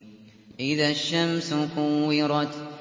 إِذَا الشَّمْسُ كُوِّرَتْ